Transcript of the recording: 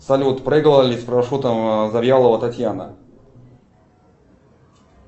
салют прыгала ли с парашютом завьялова татьяна